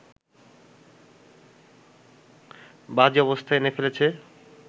বাজে অবস্থায় এনে ফেলেছে